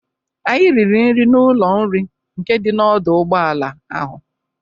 Anyị riri nri n'ụlọ nri nke dị n'ọdọ ụgbọala ahụ.